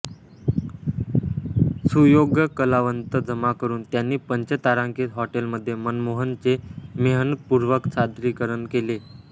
सुयोग्य कलावंत जमा करून त्यांनी पंचतारांकित हॉटेलमध्ये मनमोहनचे मेहनतपूर्वक सादरीकरण केले